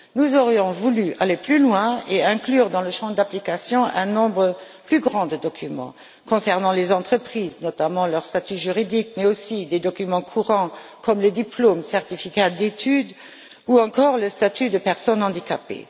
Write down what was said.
Nous aurions voulu aller plus loin et inclure dans le champ d'application un nombre plus grand de documents concernant les entreprises, notamment leur statut juridique, mais aussi des documents courants comme les diplômes, les certificats d'études, ou encore le statut de personne handicapée.